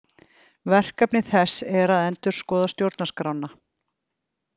Verkefni þess er að endurskoða stjórnarskrána